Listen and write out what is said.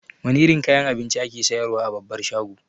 Wane irin kayan abinci ake siyar wa a babbar shago?